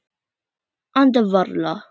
Anda varla.